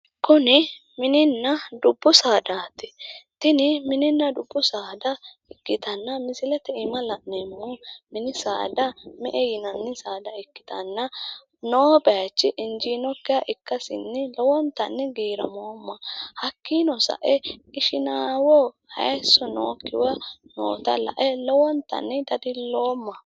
Kuni mininna dubbu saadaati tini mininna dubbu saada ikkitanna misilete aana la'neemmohu mini saada me''e yinanni saada ikkitanna noo bayichi injiinokkiha ikkasinni loeontanni giramoomma hakkiino sae ishinamoho hayisso nookkiha noota lae lowontanni dadiloomma.